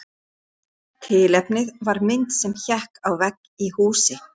Tilefnið var mynd sem hékk á vegg í húsi.